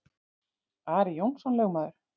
Ari Jónsson lögmaður